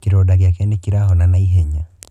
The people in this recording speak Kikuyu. Kĩronda gĩake nĩ kĩrahona na ihenya.